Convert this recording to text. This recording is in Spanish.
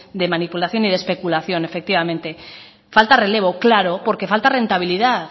de manipulación y de especulación efectivamente falta relevo claro porque falta rentabilidad